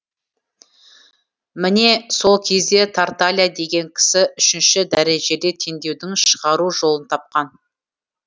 міне сол кезде тарталья деген кісі үшінші дәрежелі теңдеудің шығару жолын тапқан